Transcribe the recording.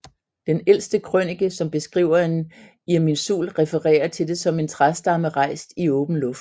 Den ældste krønike som beskriver en Irminsul refererer til det som en træstamme rejst i åben luft